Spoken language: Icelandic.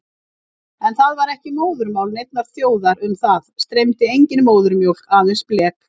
En það var ekki móðurmál neinnar þjóðar, um það streymdi engin móðurmjólk, aðeins blek.